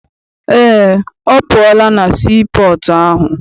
Eé, ọ pụọla na sii pọọtụ ahụ.